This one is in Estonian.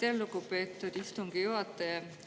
Aitäh, lugupeetud istungi juhataja!